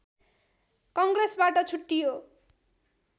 कङ्ग्रेसबाट छुट्टियो